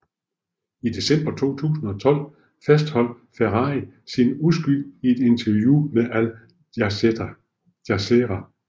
I december 2012 fastholdt Ferrari sin uskyld i et interview med Al Jazeera